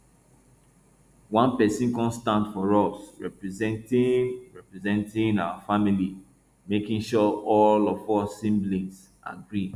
one person come stand for us representing representing our family making sure all of us siblings agree